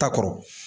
Ta kɔrɔ